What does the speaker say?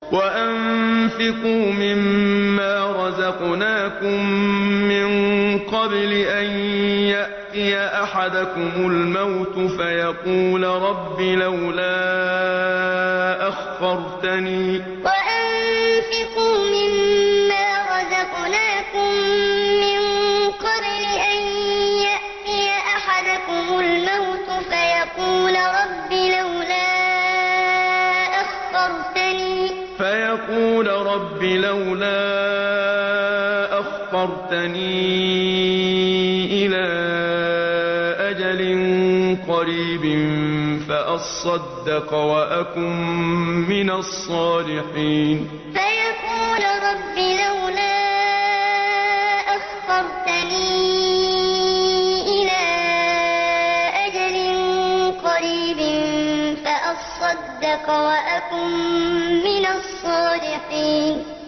وَأَنفِقُوا مِن مَّا رَزَقْنَاكُم مِّن قَبْلِ أَن يَأْتِيَ أَحَدَكُمُ الْمَوْتُ فَيَقُولَ رَبِّ لَوْلَا أَخَّرْتَنِي إِلَىٰ أَجَلٍ قَرِيبٍ فَأَصَّدَّقَ وَأَكُن مِّنَ الصَّالِحِينَ وَأَنفِقُوا مِن مَّا رَزَقْنَاكُم مِّن قَبْلِ أَن يَأْتِيَ أَحَدَكُمُ الْمَوْتُ فَيَقُولَ رَبِّ لَوْلَا أَخَّرْتَنِي إِلَىٰ أَجَلٍ قَرِيبٍ فَأَصَّدَّقَ وَأَكُن مِّنَ الصَّالِحِينَ